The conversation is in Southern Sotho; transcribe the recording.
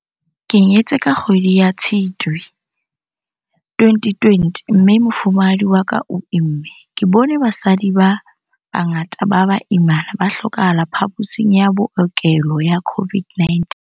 Ke nyetse ka kgwedi ya Tshitwe 2020 mme mofumahadi wa ka o imme. Ke bone basadi ba bangata ba baimana ba hlokahala phaposing ya bookelo ya COVID-19.